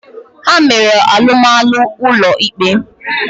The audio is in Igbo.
Ha mere alụmalụ ụlọ ikpe.